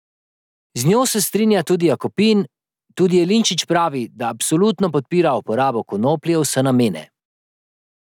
Z njo se strinja tudi Jakopin, tudi Jeleničič pravi, da absolutno podpira uporabo konoplje v vse namene.